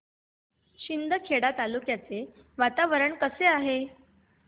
शिंदखेडा तालुक्याचे वातावरण कसे आहे